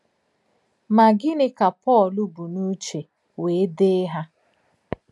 Mà gínị̀ kà Pọ́l bù n’ùchè wèè dèè hà?